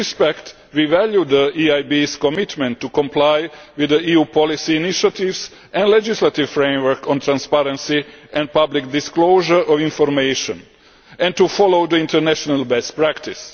In this respect, we value the EIB's commitment to complying with EU policy initiatives and legislative framework on transparency and public disclosure of information and to following international best practice.